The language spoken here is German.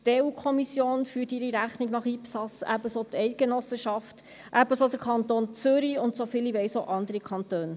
Die EU-Kommission führt ihre Rechnung nach IPSAS, ebenso die Eidgenossenschaft, ebenso der Kanton Zürich und, soviel ich weiss, auch andere Kantone.